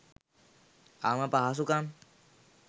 අවම පහසුකම්